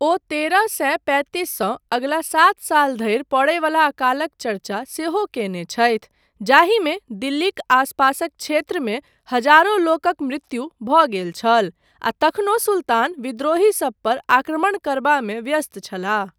ओ तरह सए पैतिससँ अगिला सात साल धरि पड़य बला अकालक चर्चा सेहो कयने छथि, जाहिमे दिल्लीक आसपासक क्षेत्रमे हजारो लोकक मृत्यु भऽ गेल छल आ तखनो सुल्तान विद्रोहीसब पर आक्रमण करबामे व्यस्त छलाह।